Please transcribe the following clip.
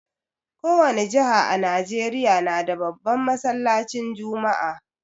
Kowani jiha a Nijeriya nada babban masallacin juma'a